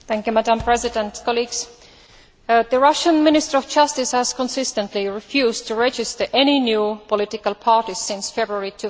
Madam President, the Russian Minister of Justice has consistently refused to register any new political parties since February